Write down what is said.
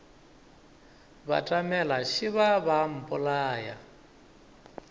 batamela šeba ba a mpolaya